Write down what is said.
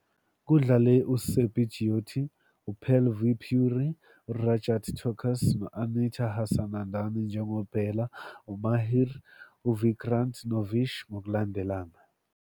Kudlale uSurbhi Jyoti, Pearl V Puri, Rajat Tokas no- Anita Hassanandani njengoBela, Mahir, Vikrant noVish, ngokulandelana.